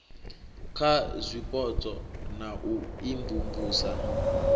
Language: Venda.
kha zwipotso na u imvumvusa